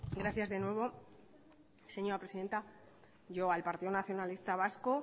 gracias de nuevo señora presidenta yo al partido nacionalista vasco